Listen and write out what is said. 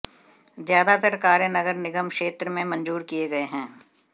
ज्यादात्तर कार्य नगर निगम क्षेत्र में मंजूर किये गये हैं